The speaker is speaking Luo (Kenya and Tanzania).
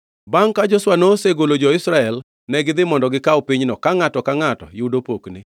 Bangʼ ka Joshua nosegolo jo-Israel, negidhi mondo gikaw pinyno, ka ngʼato ka ngʼato yudo pokne.